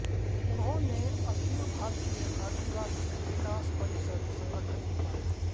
उन्होंने अखिल भारतीय आदिवासी विकास परिषद संगठन भी पाया